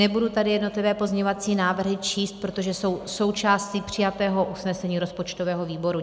Nebudu tady jednotlivé pozměňovací návrhy číst, protože jsou součástí přijatého usnesení rozpočtového výboru.